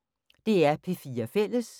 DR P4 Fælles